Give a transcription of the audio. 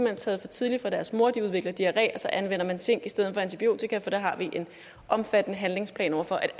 hen taget for tidligt fra deres mor så de udvikler diarré og så anvender man zink i stedet for antibiotika for det har vi en omfattende handlingsplan for er